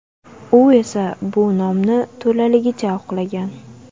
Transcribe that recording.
U esa bu nomni to‘laligicha oqlagan.